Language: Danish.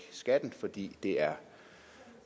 skatten fordi det er